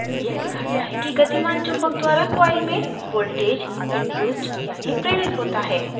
यह दिखाता है कि गतिमान चुम्बक द्वारा coil में voltage इंड्यूस्ड यानि प्रेरित होता है